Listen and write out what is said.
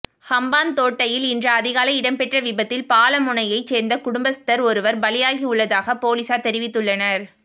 ஹம்பாந்தோட்டையில் இன்று அதிகாலை இடம்பெற்ற விபத்தில் பாலமுனையைச் சேர்ந்த குடும்பஸ்தர் ஒருவர் பலியாகியுள்ளதாக பொலிஸார் தெரிவித்துள்ளனர்